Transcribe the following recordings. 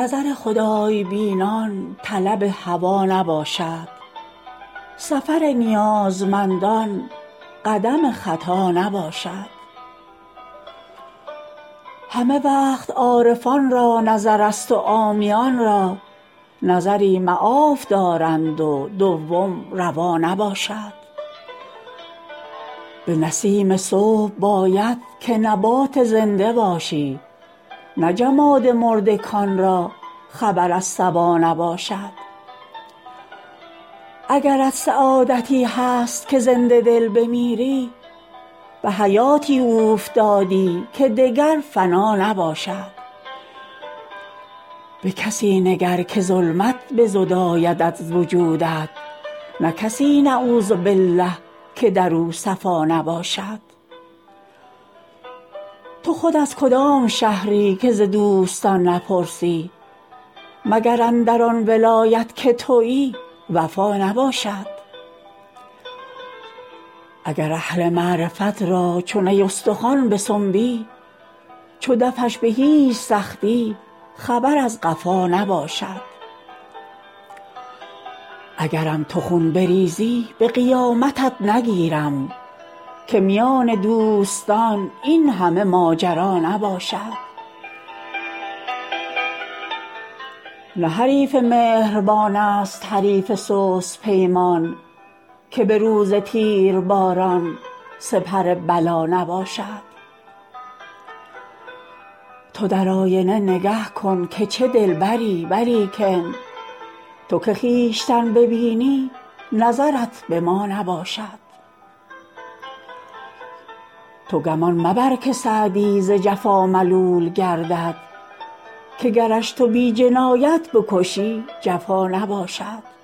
نظر خدای بینان طلب هوا نباشد سفر نیازمندان قدم خطا نباشد همه وقت عارفان را نظرست و عامیان را نظری معاف دارند و دوم روا نباشد به نسیم صبح باید که نبات زنده باشی نه جماد مرده کان را خبر از صبا نباشد اگرت سعادتی هست که زنده دل بمیری به حیاتی اوفتادی که دگر فنا نباشد به کسی نگر که ظلمت بزداید از وجودت نه کسی نعوذبالله که در او صفا نباشد تو خود از کدام شهری که ز دوستان نپرسی مگر اندر آن ولایت که تویی وفا نباشد اگر اهل معرفت را چو نی استخوان بسنبی چو دفش به هیچ سختی خبر از قفا نباشد اگرم تو خون بریزی به قیامتت نگیرم که میان دوستان این همه ماجرا نباشد نه حریف مهربان ست حریف سست پیمان که به روز تیرباران سپر بلا نباشد تو در آینه نگه کن که چه دلبری ولیکن تو که خویشتن ببینی نظرت به ما نباشد تو گمان مبر که سعدی ز جفا ملول گردد که گرش تو بی جنایت بکشی جفا نباشد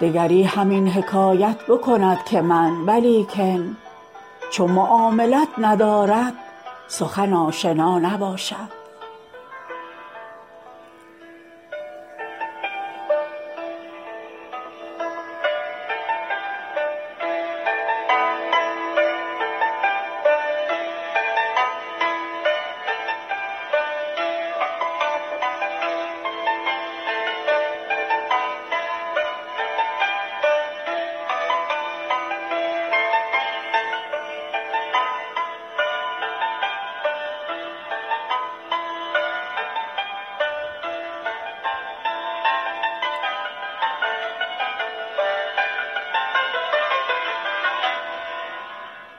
دگری همین حکایت بکند که من ولیکن چو معاملت ندارد سخن آشنا نباشد